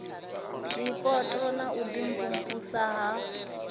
zwipotso na u imvumvusa ya